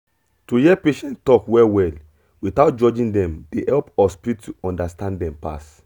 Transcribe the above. to hear patient talk well well without judging dem dey help hospital understand dem pass